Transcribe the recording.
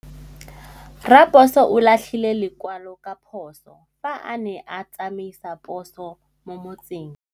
Raposo o latlhie lekwalô ka phosô fa a ne a tsamaisa poso mo motseng.